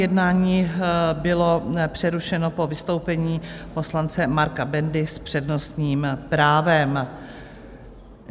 Jednání bylo přerušeno po vystoupení poslance Marka Bendy s přednostním právem.